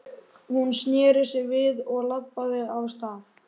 Hún sneri sér við og labbaði af stað.